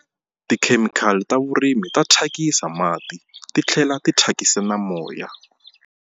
Tikhemikhali ta vurimi ta thyakisa mati ti tlhela ti thyakisa na moya.